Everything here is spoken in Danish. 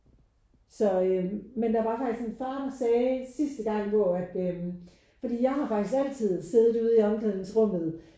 Så øh men der var faktisk en far der sagde sidste gang hvor at øh fordi jeg har faktisk altid siddet ude i omklædningsrummet